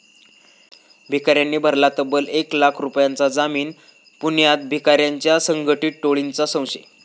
भिकाऱ्यांनी भरला तब्बल एक लाख रुपयांचा जामीन, पुण्यात भिकाऱ्यांची संघटीत टोळीचा संशय